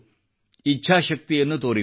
ಇಚ್ಛಾಶಕ್ತಿಯನ್ನು ತೋರಿದರು